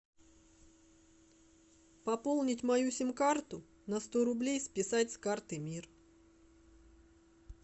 пополнить мою сим карту на сто рублей списать с карты мир